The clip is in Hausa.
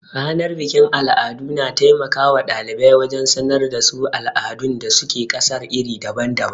Ranar bikin al'adu, na taimaka wa ɗalibai wajen sanar da su al'adun da su ke ƙasar iri daban-daban.